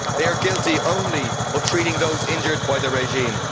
They are guilty only of treating those injured by the regime.